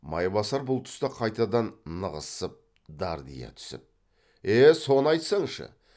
майбасар бұл тұста қайтадан нығызсып дардия түсіп е соны айтсаңшы